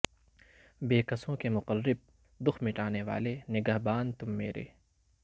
بے کسوں کے مقرب دکھ مٹانے والے نگہباں تم میرے